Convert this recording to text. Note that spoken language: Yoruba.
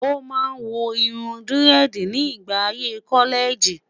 o má wò irún diredi ni ìgbà ayé kọlẹẹjì